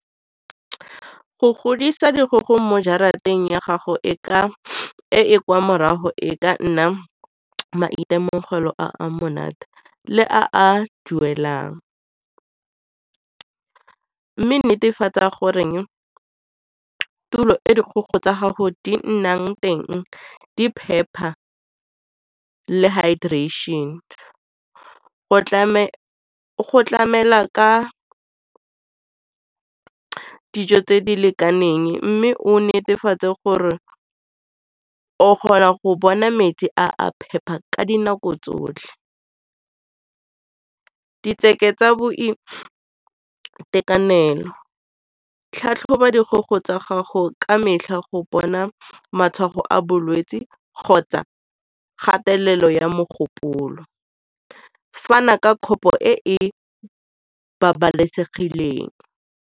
Go godisa dikgogo mo jarateng ya gago e e kwa morago e ka nna maitemogelo a a monate le a a duelang mme netefatsa gore tulo e dikgogo tsa gago di ka nnang teng di phepa le hydration. Go tlamela ka ke dijo tse di lekaneng mme o netefatse gore o kgona go bona metsi a a phepa ka dinako tsotlhe tsa boitekanelo, tlhatlhoba dikgogo tsa gago ka metlha go bona matshwao a bolwetse kgotsa kgatelelo ya mogopolo fana ka kgobo e e babalesegileng.